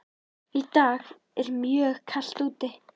Í dag er mjög kalt úti.